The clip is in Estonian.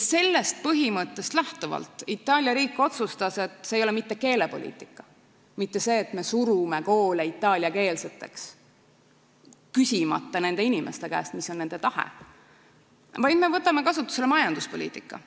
Sellest põhimõttest lähtuvalt Itaalia riik otsustas, et see vahend ei ole mitte keelepoliitika, mitte see, et nad suruvad koole itaaliakeelseks, küsimata nende inimeste käest, mis on nende tahe, vaid nad võtavad kasutusele majanduspoliitika.